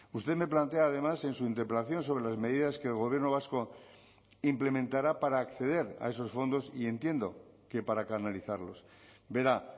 usted me plantea además en su interpelación sobre las medidas que el gobierno vasco implementará para acceder a esos fondos y entiendo que para canalizarlos verá